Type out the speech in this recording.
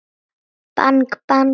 Bang bang.